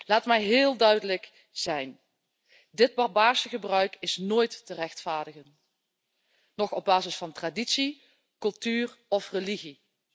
Laat me heel duidelijk zijn dit barbaarse gebruik is nooit te rechtvaardigen, op basis van traditie, cultuur noch religie.